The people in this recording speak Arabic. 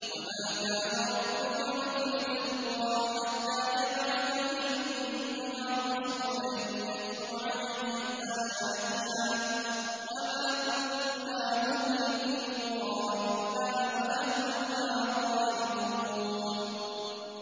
وَمَا كَانَ رَبُّكَ مُهْلِكَ الْقُرَىٰ حَتَّىٰ يَبْعَثَ فِي أُمِّهَا رَسُولًا يَتْلُو عَلَيْهِمْ آيَاتِنَا ۚ وَمَا كُنَّا مُهْلِكِي الْقُرَىٰ إِلَّا وَأَهْلُهَا ظَالِمُونَ